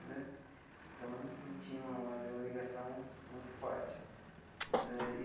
Né então, a gente tinha uma ligação muito forte né e.